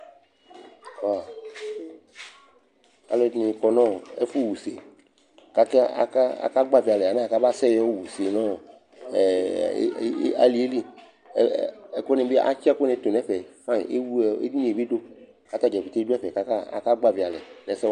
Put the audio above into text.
Alʋɛdɩnɩ kɔ nʋ ɛfʋɣa use kʋ ak aka akagbavɩ alɛ alɛna yɛ amasɛ yɔɣa use nʋ ɔ ɛ alɩ yɛ li Ɛ ɛ ɛkʋnɩ bɩ atsɩ ɛkʋnɩ tʋ nʋ ɛfɛ fayɩn Ewle ɔ edini yɛ bɩ dʋ kʋ ata dza pete dʋ ɛfɛ kʋ aka akagbavɩ alɛ nʋ ɛsɛ wanɩ